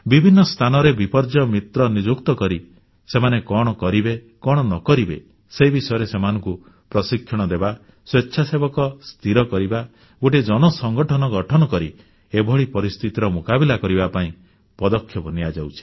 ବିଭିନ୍ନ ସ୍ଥାନରେ ବିପର୍ଯ୍ୟୟ ମିତ୍ର ନିଯୁକ୍ତ କରି ସେମାନେ କଣ କରିବେ କଣ ନ କରିବେ ସେ ବିଷୟରେ ସେମାନଙ୍କୁ ପ୍ରଶିକ୍ଷଣ ଦେବା ସ୍ୱେଚ୍ଛାସେବକ ସ୍ଥିର କରିବା ଗୋଟିଏ ଜନସଂଗଠନ ଗଠନ କରି ଏଭଳି ପରିସ୍ଥିତିର ମୁକାବିଲା କରିବା ପାଇଁ ପଦକ୍ଷେପ ନିଆଯାଉଛି